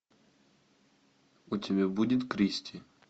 у тебя будет кристи